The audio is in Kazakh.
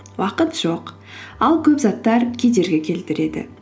уақыт жоқ ал көп заттар кедергі келтіреді